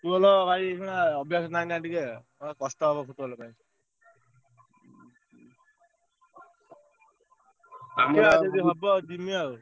Football ଭାଇ ଏଇଖିନା ଅଭ୍ଯାସ ନାହିଁ ନା ଟିକେ ଅଇଖା କଷ୍ଟ ହବ Football ଦେଖିଆ ଯଦି ହବ ଯିମି ଆଉ।